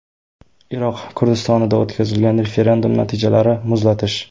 Iroq Kurdistonida o‘tkazilgan referendum natijalarini muzlatish.